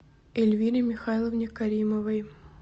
эльвире михайловне каримовой